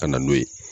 Ka na n'o ye